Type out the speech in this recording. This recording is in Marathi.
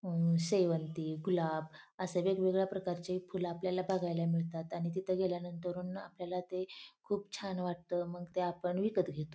आ शेवंती गुलाब आशे वेगवेगळ्या प्रकारचे फूल आपल्याला बघायला मिळतात आणि तिथे गेल्या नंतरुन ना आपल्याला ते खूप छान वाटत मग ते आपण विकत घेतो.